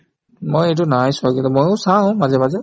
মই এইটো নাই চোৱা আজিলৈ ময়ো চাওঁ মাজে মাজে